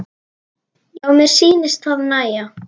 Já, mér sýnist það nægja!